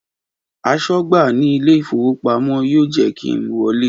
Aṣọ́gbà ní ilé ìfowópamọ́ yóò jẹ́ kí n wọlé